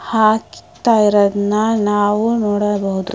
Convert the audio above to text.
ಹಾ ಇಕ್ ತ್ತಾ ಇರೋದ್ನ ನಾವು ನೋಡಬಹುದು.